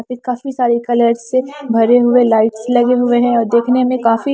पे काफी सारे कलर से भरे हुए लाइट्स लगे हुए हैं और देखने में काफी--